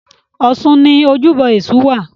Ọ̀ṣun ni ojúbọ Èṣù wà.